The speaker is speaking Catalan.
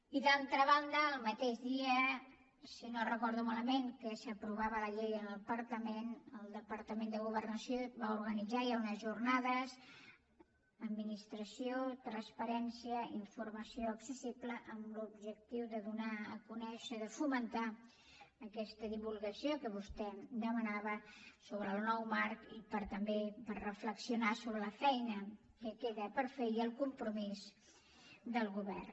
i d’altra banda el mateix dia si no ho recordo malament que s’aprovava la llei en el parlament el departament de governació va organitzar ja unes jornades administracions transparents informació accessible amb l’objectiu de donar a conèixer de fomentar aquesta divulgació que vostè demanava sobre el nou marc i per també reflexionar sobre la feina que queda per fer i el compromís del govern